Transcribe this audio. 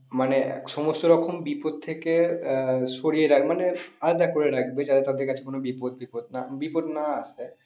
মানে সমস্ত রকম বিপদ থেকে আহ সরিয়ে রাখবে মানে আলাদা করে রাখবে যাতে তাদের কাছে কোনো বিপদ টিপদ বিপদ না আসে।